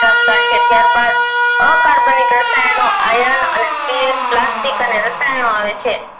ત્યાર બાદ આકાર બની રાષયનિકો iron અને steel પ્લાસ્ટિક અને રસાયણો આવે છે